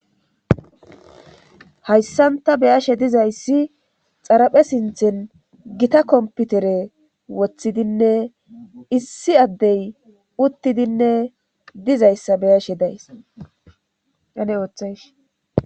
hayssan ta be'ashe dizayssi xaraphe sinthen gita kompitere woththidinne issi addey uttidinne dizayssa be'ashe daysanne ooththays